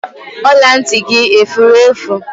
Ọla ntị gị efure efu